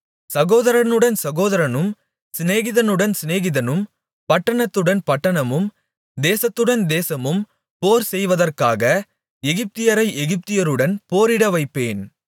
சகோதரனுடன் சகோதரனும் சிநேகிதனுடன் சிநேகிதனும் பட்டணத்துடன் பட்டணமும் தேசத்துடன் தேசமும் போர்செய்வதற்காக எகிப்தியரை எகிப்தியருடன் போரிட வைப்பேன்